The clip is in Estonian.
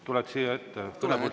Tuled siia ette?